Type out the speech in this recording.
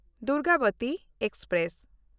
Durgavati express